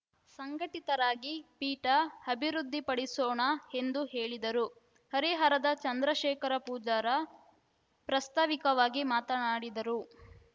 ಸಂಘಟಿತರಾಗಿ ಪೀಠ ಅಭಿವೃದ್ಧಿಪಡಿಸೋಣ ಎಂದು ಹೇಳಿದರು ಹರಿಹರದ ಚಂದ್ರಶೇಖರ ಪೂಜಾರ ಪ್ರಸ್ತಾವಿಕವಾಗಿ ಮಾತನಾಡಿದರು